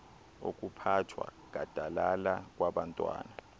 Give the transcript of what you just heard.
okuphathwa gadalala kwabantwana